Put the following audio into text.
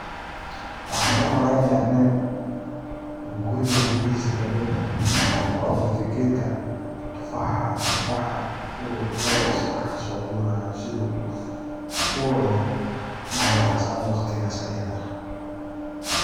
Waxan u malaynaya nin guriga guryahiisa kamid ah ku abuurte geedka tufaaxa uu labo iyo sadax kasoguranayo sidu u cuno malintas ama waqtigas ayada ah.